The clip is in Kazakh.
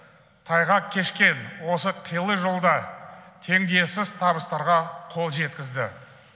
тайғақ кешкен осы қилы жолда теңдессіз табыстарға қол жеткізді